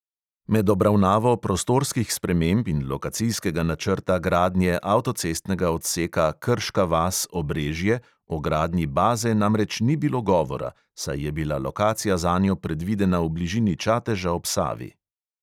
Med obravnavo prostorskih sprememb in lokacijskega načrta gradnje avtocestnega odseka krška vas - obrežje o gradnji baze namreč ni bilo govora, saj je bila lokacija zanjo predvidena v bližini čateža ob savi.